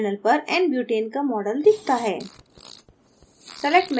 panel पर nbutane का model दिखता है